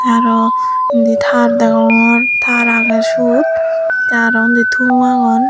tey arow indi tar degongor tar aagay syot tay arow undi tom aagon.